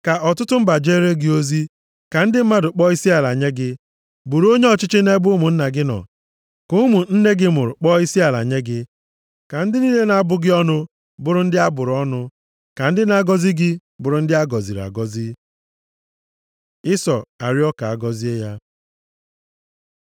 Ka ọtụtụ mba jeere gị ozi, ka ndị mmadụ kpọọ isiala nye gị. Bụrụ onye ọchịchị nʼebe ụmụnna gị nọ, ka ụmụ nne gị mụrụ kpọọ isiala nye gị. Ka ndị niile na-abụ gị ọnụ bụrụ ndị a bụrụ ọnụ, ka ndị na-agọzi gị bụrụ ndị a gọziri agọzi.” Ịsọ arịọọ ka a gọzie ya